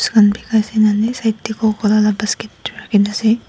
side tey coco cola basket tu rakhina ase.